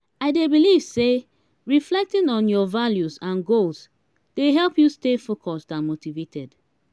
i dey believe say reflecting on your values and goals dey help you stay focused and motivated.